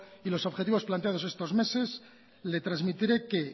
y los objetivos planteados estos meses le transmitiré que